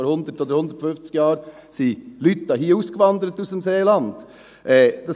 Vor 100 oder 150 Jahren wanderte Leute aus dem Seeland aus.